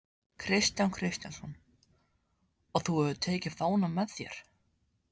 Kristján Kristjánsson: Og þú hefur tekið fánann með þér?